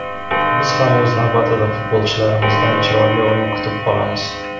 Biz ham o‘z navbatida futbolchilarimizdan chiroyli o‘yin kutib qolamiz.